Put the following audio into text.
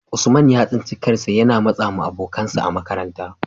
Usman ya tsinci kansa yana matsawa abokansa a makaranta,